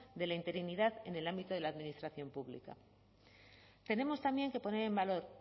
de la interinidad en el ámbito de la administración pública tenemos también que poner en valor